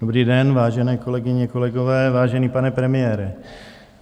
Dobrý den, vážené kolegyně, kolegové, vážený, pane premiére.